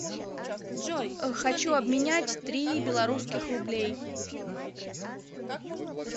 хочу обменять три белорусских рублей